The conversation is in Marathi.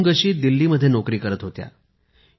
अवुन्गशी दिल्लीमध्ये नोकरी करत होत्या